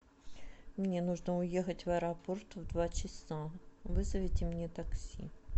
мне нужно уехать в аэропорт в два часа вызовите мне такси